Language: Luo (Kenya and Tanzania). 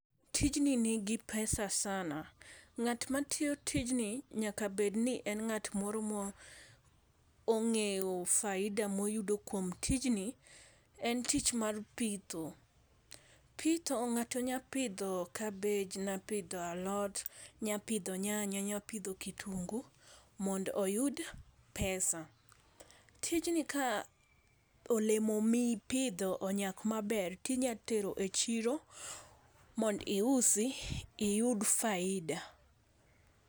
Tijni nigi pesa sana, ng'at matiyo tijni nyaka bedni en nga't moro ma ong'eyo faida moyudo kuom tijni, en tich mar pitho. Pitho ng'ato nya pidho kabej, nyapidho alot, nyapidho nyanya, nyapidho kitungu mond oyud pesa. Tijni ka olemo mipidho onyak maber tinya tero e chiro mondo iusi iyud faida.